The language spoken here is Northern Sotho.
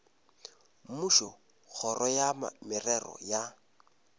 mmušo kgoro ya merero ya